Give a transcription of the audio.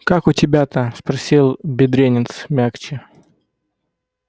как у тебя-то спросил бедренец мягче